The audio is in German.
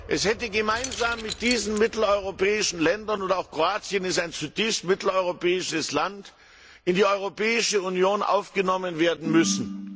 Es hätte gemeinsam mit diesen mitteleuropäischen Ländern auch Kroatien ist ein zutiefst mitteleuropäisches Land in die Europäische Union aufgenommen werden müssen.